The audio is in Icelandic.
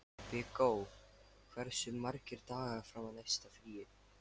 Viggó, hversu margir dagar fram að næsta fríi?